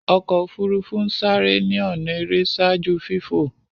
ọkọ ofurufu n sáré ni ọnà èrè ṣaaju fifo.